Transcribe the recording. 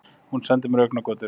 Hún sendir mér augnagotur.